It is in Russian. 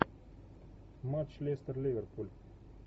матч лестер ливерпуль